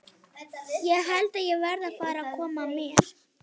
Ég held að ég verði að fara að koma mér.